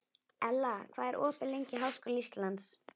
Ella, hvað er opið lengi í Háskóla Íslands?